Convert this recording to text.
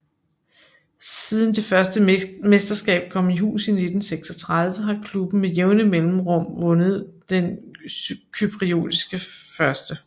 Siden det første mesterskab kom i hus i 1936 har klubben med jævne mellemrum vundet den cypriotiske 1